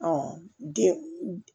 den